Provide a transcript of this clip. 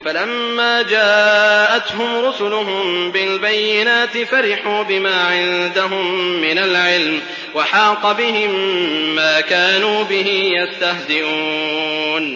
فَلَمَّا جَاءَتْهُمْ رُسُلُهُم بِالْبَيِّنَاتِ فَرِحُوا بِمَا عِندَهُم مِّنَ الْعِلْمِ وَحَاقَ بِهِم مَّا كَانُوا بِهِ يَسْتَهْزِئُونَ